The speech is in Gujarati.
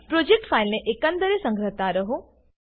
પ્રોજેક્ટ ફાઈલને એકંદરે સંગ્રહતા રહો